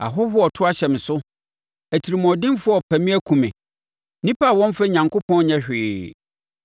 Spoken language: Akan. Ahɔhoɔ reto ahyɛ me so. Atirimuɔdenfoɔ repɛ me akum me; nnipa a wɔmmfa Onyankopɔn nyɛ hwee.